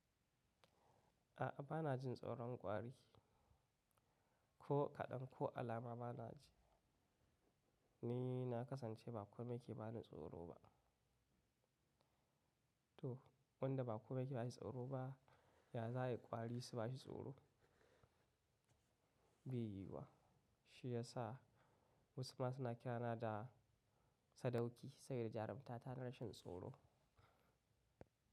A'a bana jin tsoron kwari. Ko kaɗan ko alama bana ji. Ni na kasance ba komai ke bani tsoro ba. To wanda ba komai ke bashi tsoro ba, ya za ayi kwari su bashi tsoro? Bai yiwu ba. Shi ya sa wasu masu na kirana da sadauki saboda jarumta ta rashin tsoro.